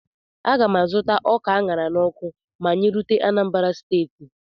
A ga m azụta ọka a ṅara n'ọkụ ma anyị rute Anambra steeti